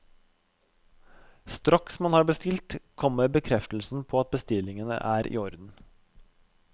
Straks man har bestilt, kommer bekreftelsen på at bestillingen er i orden.